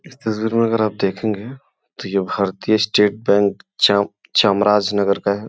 इस तस्वीर में अगर आप देखगे तो ये भारतीय स्टेट बैंक चाम चामराज नगर का है।